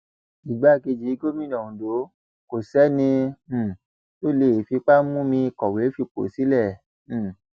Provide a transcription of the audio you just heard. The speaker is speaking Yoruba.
igbákejì gómìnà ondo kò sẹni um tó lè fipá mú mi kọwé fipò sílẹ um